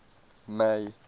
may